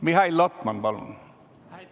Mihhail Lotman, palun!